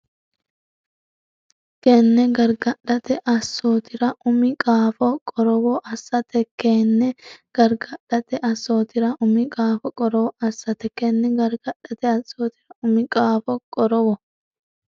Kenne gargadhate assootira umi qaafo qorowo assate Kenne gargadhate assootira umi qaafo qorowo assate Kenne gargadhate assootira umi qaafo qorowo.